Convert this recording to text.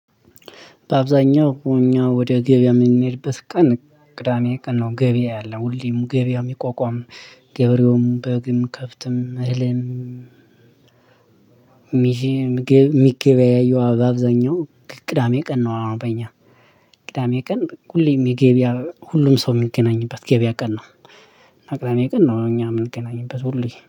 በአብዛኛው እኛ ወደ ገበያ የምንሄድበት ቀን ቅዳሜ ቀን ነው። ገበያ ያለው ሁሌም ገበያ የሚቋቋም ገበሬውም፣ በግም፣ ከፍትም፣ እህልም፣ ሚሼ ሚገ የሚገበያየው በአብዛኛው ቅዳሜ ቀን ነው። በእኛ ቅዳሜ ቀን፣ ሁሌ የሚገበያ ሁሉም ሰው የሚገናኝበት ገበያ ቀን ነው፣ እና ቅዳሜ ቀን ነው እኛ የምንገናኝበት ሁሌ።